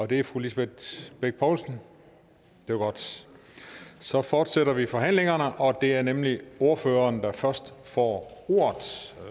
det er fru lisbeth bech poulsen det var godt så fortsætter vi forhandlingerne og det er nemlig ordføreren der først får ordet